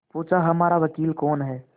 पूछाहमारा वकील कौन है